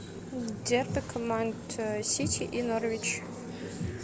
дерби команд сити и норвич